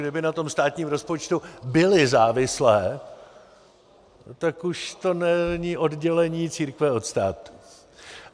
Kdyby na tom státním rozpočtu byly závislé, tak už to není oddělení církve od státu.